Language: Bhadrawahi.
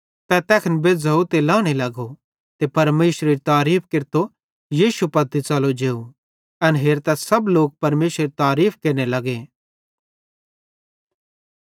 तै तैखने बेज़्झ़ोव ते लहने लगो ते परमेशरेरी तारीफ़ केरतो यीशु पत्ती च़लो जेव एन हेरतां सब लोक परमेशरेरी तारीफ़ केरने लगे